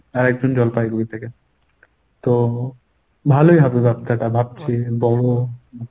আর একজন জলপাইগুড়ি থেকে। তো ভালই হবে ব্যবসাটা ভাবছি বড়।